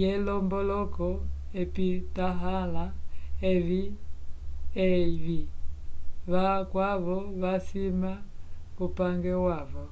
yelomboloko ipitahãla evi vakwavo vasima kupange wavo